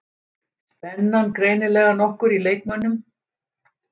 Spennan greinilega nokkur í leikmönnum